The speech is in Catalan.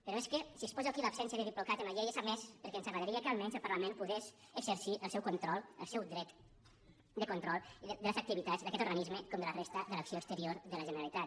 però és que si exposo aquí l’absència de diplocat en la llei és a més perquè ens agradaria que almenys el parlament pogués exercir el seu control el seu dret de control de les activitats d’aquest organisme com de la resta de l’acció exterior de la generalitat